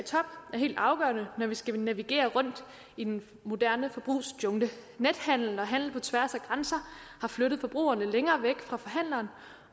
helt afgørende når vi skal navigere rundt i den moderne forbrugsjungle nethandel og handel på tværs af grænser har flyttet forbrugerne længere væk fra forhandlerne